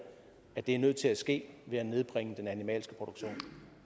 at det er nødt til at ske ved at nedbringe den animalske produktion